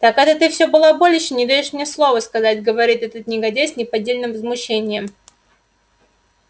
так это ты все балаболишь и не даёшь мне ни слова сказать говорит этот негодяй с неподдельным возмущением